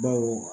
Baw